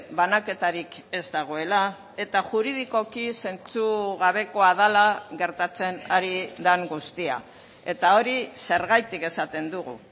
banaketarik ez dagoela eta juridikoki zentzugabekoa dela gertatzen ari den guztia eta hori zergatik esaten dugu